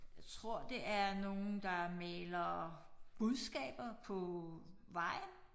Jeg tror det er nogle der maler budskaber på vejen